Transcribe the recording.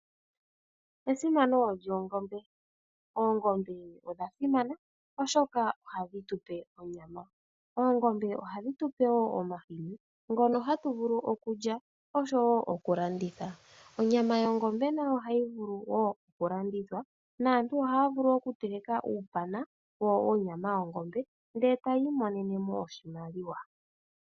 Esimano lyoongombe, oongombe odha simana molwaashoka ohadhi tu pe onyama. Oongombe ohadhi tu pe woo omahini ngono hatu vulu okulya osho woo okulanditha. Onyama yongombe nayo ohayi vulu woo okulandithwa naantu ohaya vulu okuteleka uupana wonyama yongombe ndele etaya imonene mo oshimaliwa.